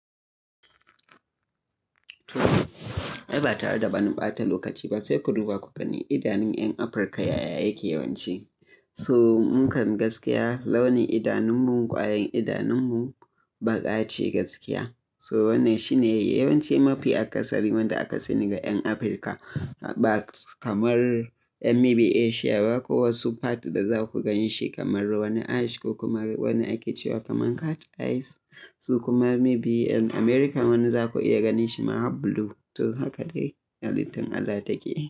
To ai ba tare da ba ni ɓata lokaci ba sai ku duba ku gani idanun 'yan Afirka yaya yake yawanci. So mukan gaskiya launin idanunmu kwayan idanunmu baƙa ce gaskiya. So wannan shine yawanci mafi akasari wanda aka sani ga 'yan Afirka ba kamar 'yan may be Asia ba ko wasu part da za ku ganshi kamar wani ash ko kuma wani ake cewa kaman cat eyes. So kuma may be 'yan America wani za ku iya ganshi ma blue. To haka dai halittun Allah take.